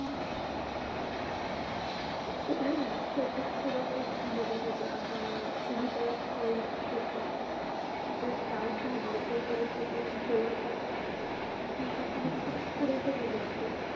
शेतीत सुद्धा खूप बदल होतील आता withoutsoil ची शेती juststart झालीय तोपर्यंत तर जवळपास ती शेती खूप पुढे गेलेली असेल